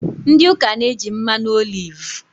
Ndị ụka na-eji mmanụ olivu